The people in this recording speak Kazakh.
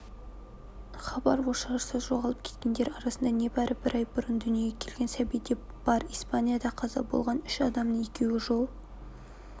хабар ошарсыз жоғалып кеткендер арасында небары бір ай бұрын дүниеге келген сәби де бар испанияда қаза болған үш адамның екеуі жол